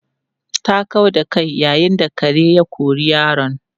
Ta kau da kai yayin da kare ya kori yaron.